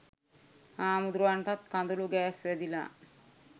හාමුදුරුවන්ටත් කඳුළු ගෑස් වැදිලා